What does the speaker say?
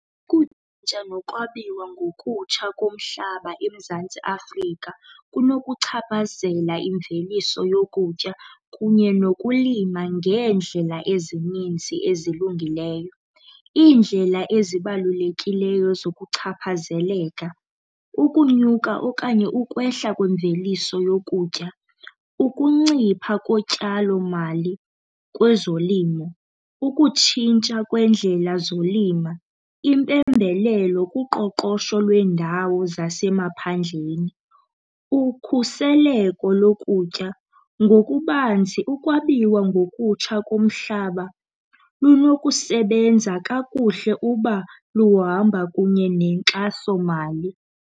nokwabiwa ngokutsha komhlaba eMzantsi Afrika kunokuchaphazela imveliso yokutya kunye nokulima ngeendlela ezininzi ezilungileyo. Iindlela ezibalulekileyo zokuchaphazeleka, ukunyuka okanye ukwehla kwemveliso yokutya, ukuncipha kotyalomali kwezolimo, ukutshintsha kweendlela zolima, impembelelo kuqoqosho lweendawo zasemaphandleni, ukhuseleko lokutya. Ngokubanzi ukwabiwa ngokutsha komhlaba lunokusebenza kakuhle uba luhamba kunye nenkxasomali.